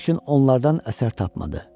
Lakin onlardan əsər tapmadı.